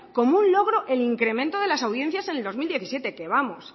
como un logro el incremento de las audiencias el dos mil diecisiete que vamos